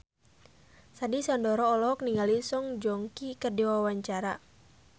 Sandy Sandoro olohok ningali Song Joong Ki keur diwawancara